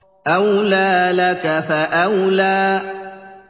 أَوْلَىٰ لَكَ فَأَوْلَىٰ